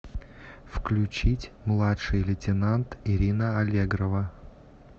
включить младший лейтенант ирина аллегрова